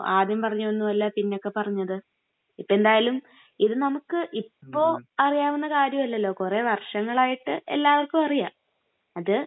ആദ്യം പറഞ്ഞതൊന്നുമല്ല പിന്നൊക്കെ പറഞ്ഞത്.ഇപ്പൊ എന്തായാലും ഇത് നമുക്ക്..ഇപ്പൊ അറിയാവുന്ന കാര്യമല്ലല്ലോ, കുറെ വര്ഷങ്ങളായിട്ട് എല്ലാവര്ക്കും അറിയാം.അത്..